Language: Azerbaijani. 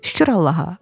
Fşşur Allaha!